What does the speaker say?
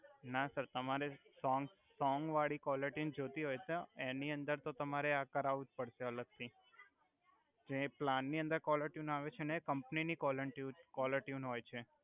ના સર તમારે songs song વાળી કોલર ટ્યુન જોતિ હોય છે એનુ અંદર તો તમારે આ કરાવુ જ જોસે અલગ થી જે પ્લાન ની અંદર કોલરટ્યુન આવે છે કમ્પની ની કોલર ટ્યુન હોય છે